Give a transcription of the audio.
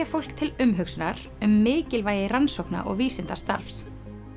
fólk til umhugsunar um mikilvægi rannsókna og vísindastarfs